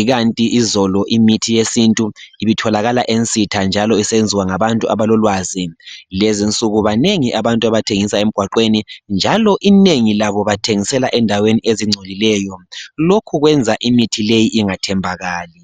ikanti izolo imithi yesintu ibitholakala ensitha njalo isenziwa ngabantu abalolwazi kulezinsuku banengi abantu abathengisela emgwaqweni njalo inengi labo abthengisela endaweni ezingcolileyo lokhu kwenza imithi leyi ingathembakali